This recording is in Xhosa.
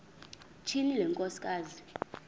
tyhini le nkosikazi